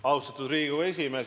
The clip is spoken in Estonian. Austatud Riigikogu esimees!